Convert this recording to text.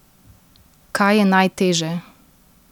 Kaj je najteže?